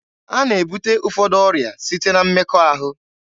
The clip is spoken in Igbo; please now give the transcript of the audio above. A na-ebute ụfọdụ ọrịa site na mmekọahụ.